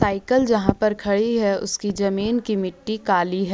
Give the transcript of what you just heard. Cycle जहां पर खड़ी है उसकी जमीन की मिट्टी काली है।